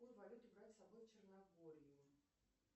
какую валюту брать с собой в черногорию